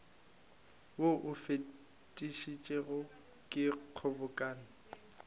wo o fetišitšwego ke kgobokano